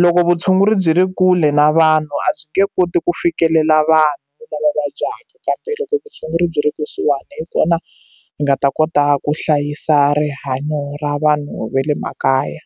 loko vutshunguri byi ri kule na vanhu vanhu a byi nge koti ku fikelela vanhu lava vabyaka kambe loko vutshunguri byi ri kusuhani hi kona hi nga ta kota ku hlayisa rihanyo ra vanhu va le makaya.